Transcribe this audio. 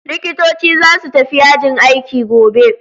Likitoci za su tafi yajin aiki gobe.